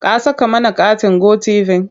Ka saka mana katin Go tv?